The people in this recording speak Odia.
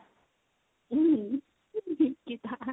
ନିକିତା